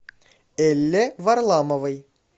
элле варламовой